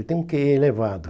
Ele tem um quê i elevado.